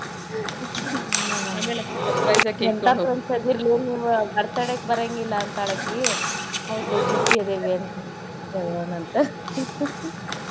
ಹ್ಮ ಎಂಥಾ friends ಅದೀರ್ಲೇ ನೀವ birthday ಕ್ ಬರಾಂಗಿಲ್ಲಾ ಅಂತಾಳಕಿ ಹೌದ್ಲೆ busy ಅದೇವ ಅಂತ ಹೇಳೋನಂತ .